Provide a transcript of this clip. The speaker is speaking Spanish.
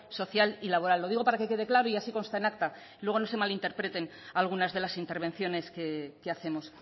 social y laboral lo digo para que quede claro y así consta en acta y luego no se malinterpreten algunas de las intervenciones que hacemos